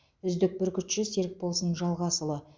үздік бүркітші серікболсын жалғасұлы